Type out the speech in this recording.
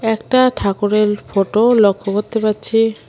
একটা ঠাকুরের ফটো লক্ষ্য করতে পারছি।